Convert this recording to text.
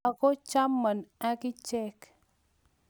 Ako chamon akichek.